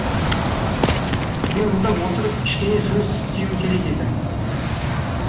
мен мұнда отырып кішкене жұмыс істеуім керек еді